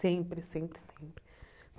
Sempre, sempre, sempre.